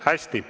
Hästi.